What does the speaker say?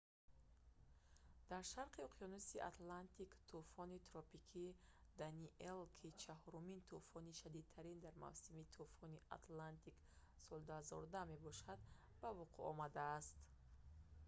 дар шарқи уқёнуси атлантик тӯфони тропикии «даниэл» ки чаҳорумин тӯфони шадидтарин дар мавсими тӯфони атлантики соли 2010 мебошад ба вуқӯъ омадааст